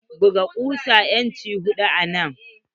Buga kusa inci hudu anan.